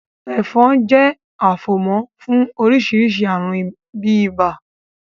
Ẹ̀fọn jẹ́ afomo fún oríṣiríṣi àrùn bíi ibà.